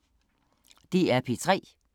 DR P3